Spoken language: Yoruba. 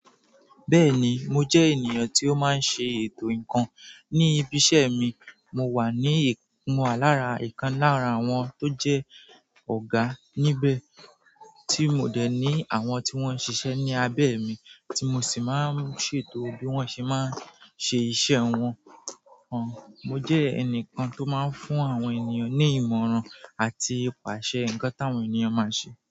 Bẹ́ẹ̀ni, mo jẹ́ ènìyàn tí ó máa ń ṣe ètò ǹkan. Ní ibi iṣẹ́ mi, mo wà ni, mo wa lára ìkan lára àwọn tó jẹ́ ọ̀gá níbẹ̀, tí mo dẹ̀ ní àwọn tí wọ́n ń ṣiṣẹ́ ní abẹ́ mi, tí mo sì máa ń ṣètò bí wọ́n ṣé máa ń ṣe iṣẹ́ wọn. Òún, mo jẹ́ ẹnìkan tó máa ń fún àwọn ènìyàn ní ìmọ̀ràn àti ìpàṣẹ nǹkan táwọn ènìyàn máa ṣe.